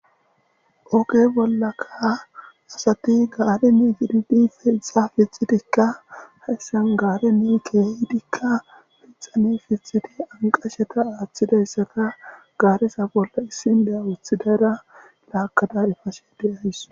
Ooge bollakasasati gaare ni fididi fixa fixidikka hessen gaare ne keehidikka fixane fixidi anqasheta aaththidayssata gaaresa bolla issin deya wuthidara laakada efashe deyays